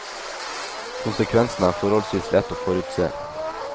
Konsekvensen er forholdsvis lett å forutse.